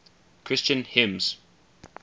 christian hymns